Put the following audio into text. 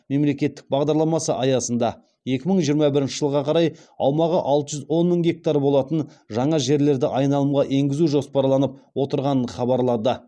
мемлекеттік бағдарламасы аясында екі мың жиырма бірінші жылға қарай аумағы алты жүз он мың гектар болатын жаңа жерлерді айналымға енгізу жоспарланып отырғанын хабарлады